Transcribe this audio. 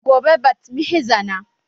Gobe bat mitzbah na